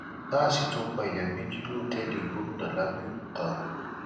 gáàsì tún pààyàn méjì lọtẹẹlì gómìnà lábẹọkúta